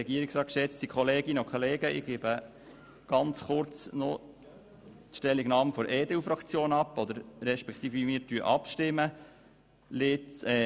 Ich gebe kurz die Stellungnahme der EDU-Fraktion ab respektive teile mit, wie wir abstimmen werden.